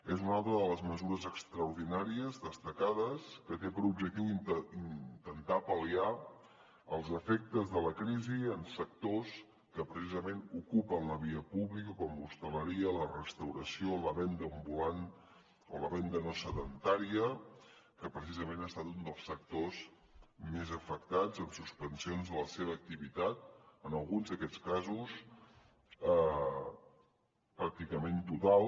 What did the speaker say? és una altra de les mesures extraordinàries destacades que té per objectiu intentar pal·liar els efectes de la crisi en sectors que precisament ocupen la via pública com l’hostaleria la restauració la venda ambulant o la venda no sedentària que precisament ha estat un dels sectors més afectats amb suspensions de la seva activitat en alguns d’aquests casos pràcticament total